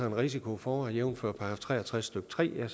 en risiko for jævnfør § tre og tres stykke tre